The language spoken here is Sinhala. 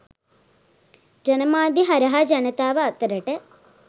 ජනමාධ්‍ය හරහා ජනතාව අතරට